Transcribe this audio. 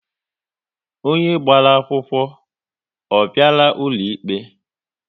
Onye gbara akwụkwọ, ọ bịara ụlọ ikpe?